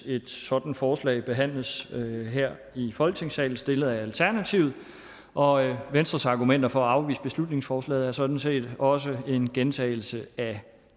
et sådant forslag behandles her i folketingssalen stillet af alternativet og venstres argumenter for at afvise beslutningsforslaget er sådan set også en gentagelse af